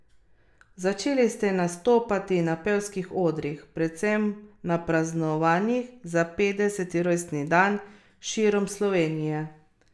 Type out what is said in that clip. Začeli ste nastopati na pevskih odrih, predvsem na praznovanjih za petdeseti rojstni dan širom Slovenije.